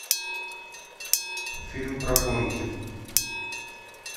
фильм про гонки